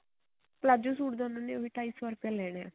palazzo suit ਦਾ ਉਹਨਾ ਨੇ ਉਹੀ ਢਾਈ ਸੋ ਰੁਪਿਆ ਲੈਣਾ